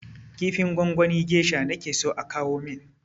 Kifin gwangwanin gesha nake so a kawo min!